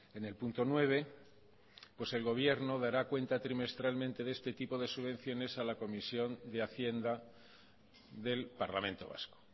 en el punto nueve pues el gobierno dará cuenta trimestralmente de este tipo de subvenciones a la comisión de hacienda del parlamento vasco